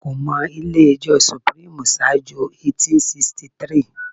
Wọn kò mọ ilé ẹjọ́ sùpírímù ṣáájú 1863